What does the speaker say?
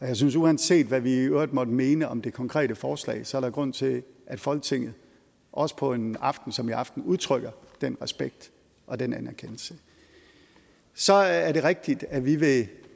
jeg synes at uanset hvad vi i øvrigt måtte mene om det konkrete forslag så er der grund til at folketinget også på en aften som i aften udtrykker den respekt og den anerkendelse så er det rigtigt at vi vil